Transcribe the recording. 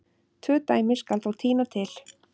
Tvö dæmi skal þó tína til.